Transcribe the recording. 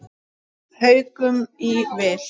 Haukum í vil.